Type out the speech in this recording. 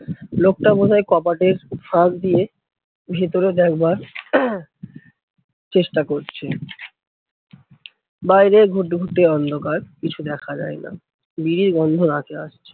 লোকটা বোধহয় কপাটের ফাঁক দিয়ে ভেতরে দেখবার চেষ্টা করছে। বাইরে ঘুটঘুটে অন্ধকার কিছু দেখা যায়না, বিড়ির গন্ধ নাকে আসছে।